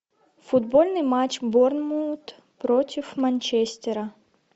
футбольный матч борнмут против манчестера